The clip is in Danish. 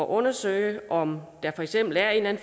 undersøge om der for eksempel er en